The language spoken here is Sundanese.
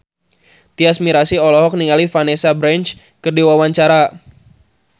Tyas Mirasih olohok ningali Vanessa Branch keur diwawancara